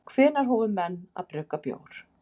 Hvenær hófu menn að brugga bjór?